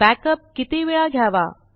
backup किती वेळा घ्यावा